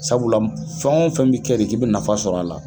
Sabula fɛn o fɛn bɛ kɛ de k'i bɛ nafa sɔrɔ a la